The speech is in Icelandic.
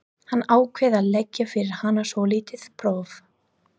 Hann ákvað að leggja fyrir hana svolítið próf.